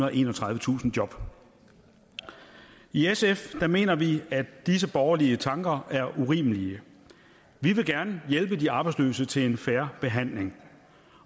og enogtredivetusind job i sf mener vi at disse borgerlige tanker er urimelige vi vil gerne hjælpe de arbejdsløse til en fair behandling